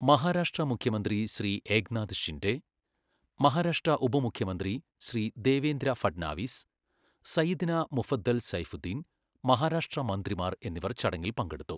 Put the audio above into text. മഹാരാഷ്ട്ര മുഖ്യമന്ത്രി ശ്രീ ഏക്നാഥ് ഷിൻഡെ, മഹാരാഷ്ട്ര ഉപമുഖ്യമന്ത്രി ശ്രീ ദേവേന്ദ്ര ഫഡ്നാവിസ്, സയ്യിദ്ന മുഫദ്ദൽ സൈഫുദ്ദീൻ, മഹാരാഷ്ട്ര മന്ത്രിമാർ എന്നിവർ ചടങ്ങിൽ പങ്കെടുത്തു.